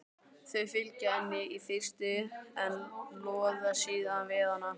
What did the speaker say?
Þau fylgja henni í fyrstu en loða síðan við hana.